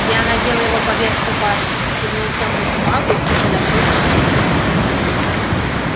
я надела его поверх рубашки кивнула тёмному магу и подошёл к шефу